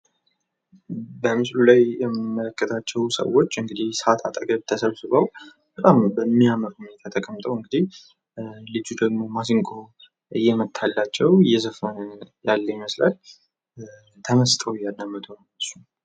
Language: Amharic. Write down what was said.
በምስሉ ላይ የሚመለከታቸው ሰዎች እንዲህ ሳት አጠገብ ተሰብስበው በጣም በሚያምር ሁኔታ ተቀምጠው እንዲህ ልጁ ደግሞ ማሲንቆ እየመጣታላቸው እየዘፈኑ እያለ ይመስላል። ተመስጠው ያዳምጡ ነው እነሱ።